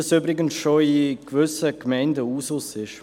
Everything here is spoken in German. Das ist übrigens in gewissen Gemeinden bereits Usus.